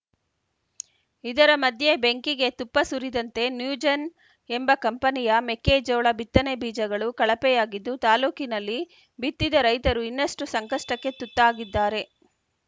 ಇದರ ಮಧ್ಯೆ ಬೆಂಕಿಗೆ ತುಪ್ಪ ಸುರಿದಂತೆ ನ್ಯೂಜೆನ್‌ ಎಂಬ ಕಂಪನಿಯ ಮೆಕ್ಕೆಜೋಳ ಬಿತ್ತನೆ ಬೀಜಗಳು ಕಳಪೆಯಾಗಿದ್ದು ತಾಲೂಕಿನಲ್ಲಿ ಬಿತ್ತಿದ ರೈತರು ಇನ್ನಷ್ಟುಸಂಕಷ್ಟಕ್ಕೆ ತುತ್ತಾಗಿದ್ದಾರೆ